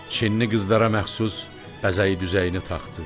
Çinli qızlara məxsus bəzəyi-düzəyini taxdı.